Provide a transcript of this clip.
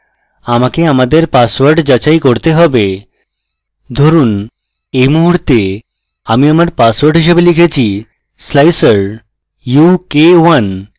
আমাকে আমাদের পাসওয়ার্ড যাচাই করতে হবে ধরুন we মুহুর্তে আমি আমার পাসওয়ার্ড হিসাবে লিখেছি slicer u k 1